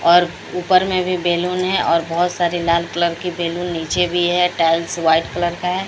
और ऊपर में भी बैलून है और बहुत सारे लाल कलर की बैलून नीचे भी है टाइल्स व्हाइट कलर का है।